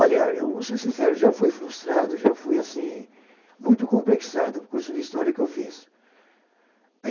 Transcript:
Olha, eu vou ser sincero, já fui frustrado, já fui, assim, muito complexado, o curso de História que eu fiz.